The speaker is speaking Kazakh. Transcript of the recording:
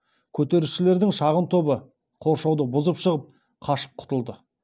көтерілісшілердің шағын тобы қоршауды бұзып шығып қашып құтылды